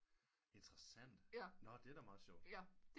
Interessant nå det er da meget sjovt